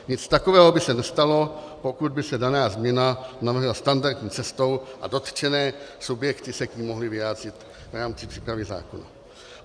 Nic takového by se nestalo, pokud by se daná změna navrhla standardní cestou a dotčené subjekty se k ní mohly vyjádřit v rámci přípravy zákona.